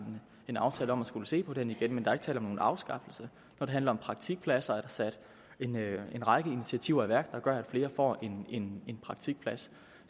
en aftale om at skulle se på den igen men der er ikke tale om nogen afskaffelse når det handler om praktikpladser er der sat en række initiativer i værk der gør at flere får en en praktikplads